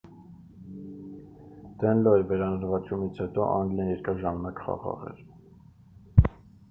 դենլոյի վերանվաճումից հետո անգլիան երկար ժամանակ խաղաղ էր